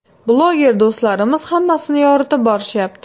Bloger do‘stlarimiz hammasini yoritib borishyapti.